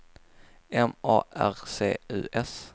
M A R C U S